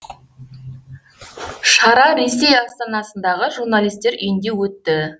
шара ресей астанасындағы журналистер үйінде өтті